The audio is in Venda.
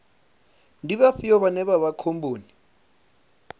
ndi vhafhio vhane vha vha khomboni